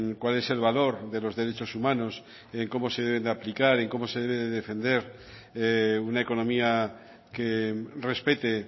cuál es el valor de los derechos humanos cómo se deben de aplicar cómo se deben de defender una economía que respete